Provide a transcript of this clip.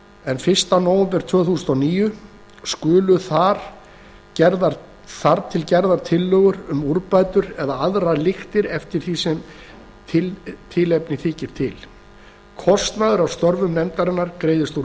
en fyrsta nóvember tvö þúsund og níu skulu þar gerðar tillögur um úrbætur eða aðrar lyktir eftir því sem tilefni þykir til kostnaður af störfum nefndarinnar greiðist úr